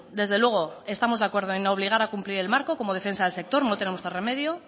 desde luego estamos de acuerdo en obligar a cumplir el marco como defensa del sector no tenemos otro remedio